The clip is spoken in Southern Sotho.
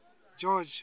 george